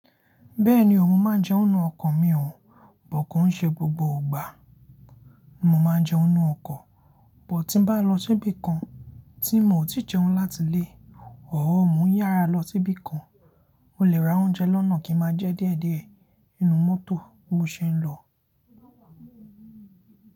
Bẹ́ẹ̀ni ò mo máa jẹun ninu ọkọ̀ mi òun, but ko i ṣé gbogbo ọgbà mo máa jẹun ninú ọkọ̀, but tí bá lọ síbi kan tí miò tí jẹun láti ilé, or moun yára lọ síbi kan, mo lè ra oúnjẹ lọ́nà kí n máa jẹ díẹ̀díẹ̀ inú mọ́tò bi mo ṣe ń lọ.